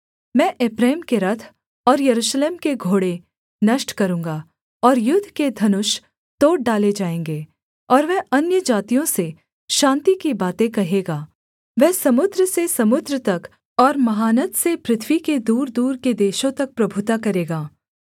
मैं एप्रैम के रथ और यरूशलेम के घोड़े नष्ट करूँगा और युद्ध के धनुष तोड़ डाले जाएँगे और वह अन्यजातियों से शान्ति की बातें कहेगा वह समुद्र से समुद्र तक और महानद से पृथ्वी के दूरदूर के देशों तक प्रभुता करेगा